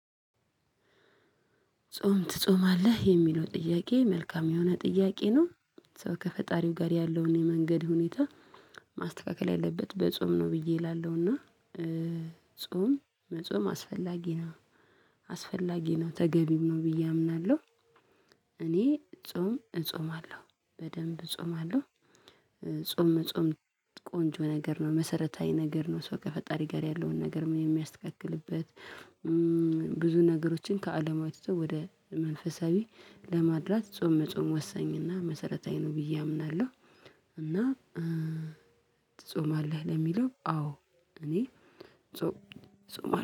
ጾም ትጾማለህ? የሚለው ጥያቄ መልካም የሆነ ጥያቄ ነው ሰው ከፈጣሪው ጋር ያለውን የመንገድ ሁኔታ ማስተካከል ያለበት በጾም ነው ብዬ እላለሁና ጾም መጾም አስፈላጊ ነው አስፈላጊ ነው ተገቢም ነው ብዬ አምናለሁ እኔ ጾም እጾማለሁ በደንብ እጾማለሁ ጾም መጾም ቆንጆ ነገር ነው መሰረታዊ ነገር ነው ሰው ከፈጣሪ ጋር ያለውን ነገር የሚያስተካክልበት ብዙ ነገሮችን ከአለማዊ ትቶ ወደ መንፈሳዊ ለማድላት ጾም መጾም ወሳኝና መሰረታዊ ነው ብዬ አምናለሁ እና ትጾማለህ? ለሚለው አዎ እኔ ጾም ጾማለሁ